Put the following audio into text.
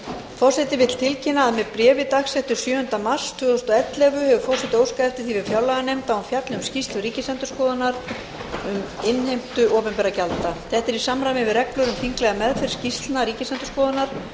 forseti vill tilkynna að með bréfi dagsettu sjöunda mars tvö þúsund og ellefu hefur forseti óskað eftir því við fjárlaganefnd að hún fjalli um skýrslu ríkisendurskoðunar um innheimtu opinberra gjalda þetta er í samræmi við reglur um þinglega meðferð skýrslna ríkisendurskoðunar